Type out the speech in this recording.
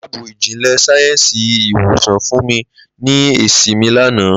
Laabu ijinle sayensi iwosan fun mi ni esi mi lana.